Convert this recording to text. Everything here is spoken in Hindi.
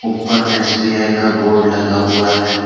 ऊपर में एस_बी_आई का बोर्ड लगा हुआ है।